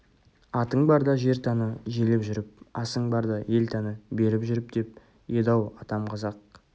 атың барда жер таны желіп жүріп асың барда ел таны беріп жүріп деп еді-ау атам қазақ